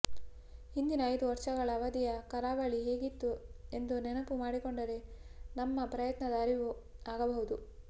ಹಿಂದಿನ ಐದು ವರ್ಷಗಳ ಅವಧಿಯ ಕರಾವಳಿ ಹೇಗಿತ್ತು ಎಂದು ನೆನಪು ಮಾಡಿಕೊಂಡರೆ ನಮ್ಮ ಪ್ರಯತ್ನದ ಅರಿವು ಆಗಬಹುದು